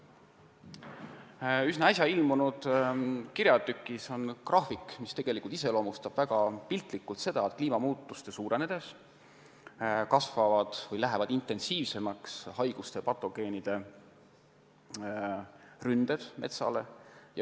Ühes üsna äsja ilmunud kirjatükis on graafik, mis iseloomustab piltlikult seda, kuidas kliimamuutuste suurenedes haiguste ja patogeenide ründed metsa vastu kasvavad või lähevad intensiivsemaks.